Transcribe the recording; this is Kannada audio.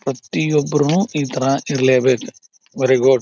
ಪ್ರತಿಯೊಬ್ಬರುನು ಇತರ ಇರ್ಲೇಬೇಕ ವೆರಿ ಗುಡ್ .